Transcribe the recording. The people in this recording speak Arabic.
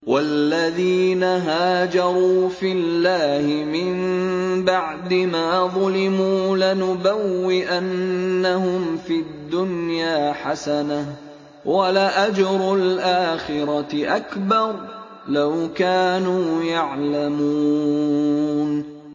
وَالَّذِينَ هَاجَرُوا فِي اللَّهِ مِن بَعْدِ مَا ظُلِمُوا لَنُبَوِّئَنَّهُمْ فِي الدُّنْيَا حَسَنَةً ۖ وَلَأَجْرُ الْآخِرَةِ أَكْبَرُ ۚ لَوْ كَانُوا يَعْلَمُونَ